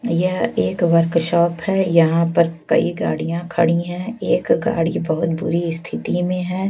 भैया एक वर्कशॉप है यहां पर कई गाड़ियां खड़ी है एक गाड़ी बहोत बुरी स्थिति में है।